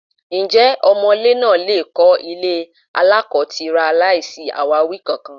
Ǹjẹ́ ọmọ̀lé náà lè kọ́ ilé aláko-tira láìsí àwáwí kankan?